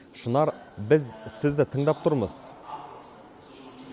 шынар біз сізді тыңдап тұрмыз